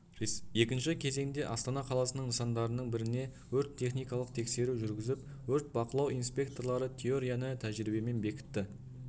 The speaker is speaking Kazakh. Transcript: екінші кезеңде астана қаласының нысандарының біріне өрт техникалық тексеру жүргізіп өрт бақылау инспекторлары теорияны тәжіребиемен бекітті